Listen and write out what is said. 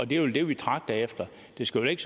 det er vel det vi tragter efter det skal vel ikke